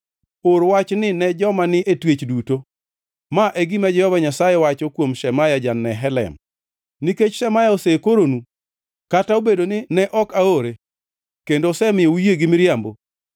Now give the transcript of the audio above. “Or wachni ne joma ni e twech duto: ‘Ma e gima Jehova Nyasaye wacho kuom Shemaya ja-Nehelam: Nikech Shemaya osekoronu, kata obedo ni ne ok aore, kendo osemiyo uyie gi miriambo,